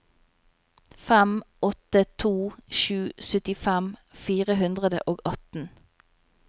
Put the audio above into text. fem åtte to sju syttifem fire hundre og atten